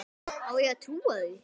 Á ég að trúa því?